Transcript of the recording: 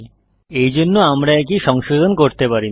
এইজন্য আমরা এই কী সংশোধন করতে পারি না